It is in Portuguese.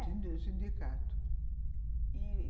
sindicato, e